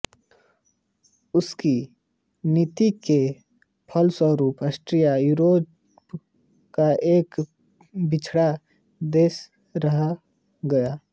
उसकी नीति के फलस्वरूप आस्ट्रिया यूरोप का एक पिछड़ा देश रह गया